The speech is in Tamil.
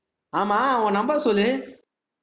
ஆமா, உன் number சொல்லு